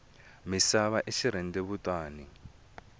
misava i xirhendewutani